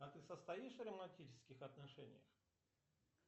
а ты состоишь в романтических отношениях